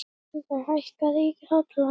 Sólveig, hækkaðu í hátalaranum.